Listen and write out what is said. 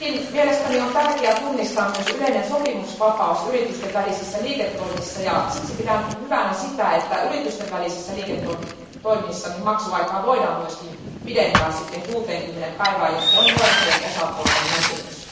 Mielestäni on kuitenkin tärkeää tunnistaa myös yleinen sopimusvapaus yritysten välisissä liiketoimissa ja siksi pidän hyvänä sitä, että yritysten välisissä liiketoimissa maksuaikaa voidaan myös pidentää 60 päivään, jos se on molempien osapuolten näkemys.